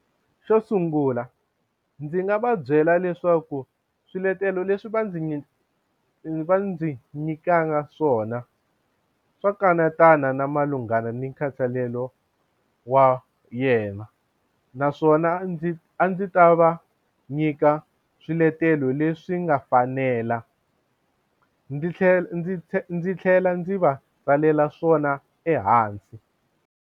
Xo sungula ndzi nga va byela leswaku swiletelo leswi va ndzi va ndzi nyikaka swona swa kanetana na malungana ni nkhathalelo wa yena naswona ndzi a ndzi ta va nyika swiletelo leswi nga fanela ndzi tlhela ndzi tlhela ndzi tlhela ndzi va tsalela swona ehansi.